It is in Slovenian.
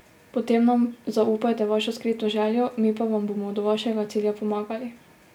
Potem nam zaupajte vašo skrito željo, mi pa vam bomo do vašega cilja pomagali.